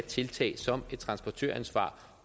tiltag som et transportøransvar